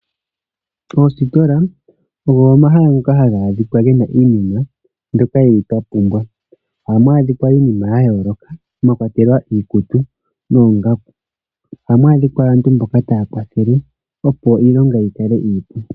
Oositola ogo omahala ngoka haga adhika gena iinima mbyika hatu kal twa pumbwa. Ohamu adhika iinima yayooloka mwakwatelwa iikutu noongaku. Ohamu adhika aantu mboka taya kwathele.